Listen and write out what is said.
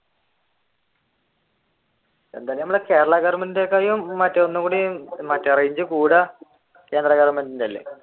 എന്തായാലും നമ്മളുടെ കേരള ഗോവെർന്മേന്റിനെ കാലും ഒന്നും കൂടി മറ്റേ range കൂടുക കേന്ദ്ര ഗോവെർന്മെന്റിന്റെ അല്ലെ